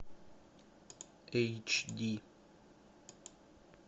эйч ди